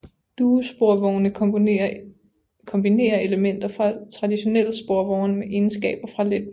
Duosporvogne kombinerer elementer fra traditionelle sporvogne med egenskaber fra letbane